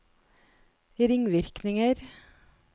ringvirkninger